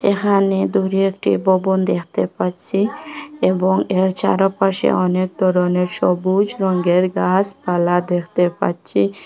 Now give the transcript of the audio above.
এহানে দূরে একটি ব-বোন দেখতে পাচ্ছি এবং এর চারোপাশে অনেক ধরনের সবুজ রঙ্গের গাসপালা দেখতে পাচ্ছি।